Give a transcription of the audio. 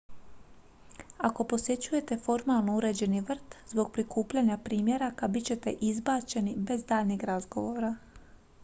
"ako posjećujete formalno uređeni vrt zbog prikupljanja "primjeraka" bit ćete izbačeni bez daljnjeg razgovora.